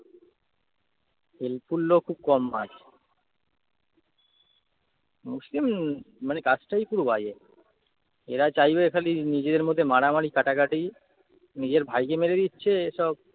helpful লোক খুব কম হয়। মুসলিম মানে cast টাই পুরো বাজে। এরা চাইবে খালি নিজেদের মধ্যে মারামারি কাটাকাটি, নিজের ভাইকে মেরে দিচ্ছে এসব।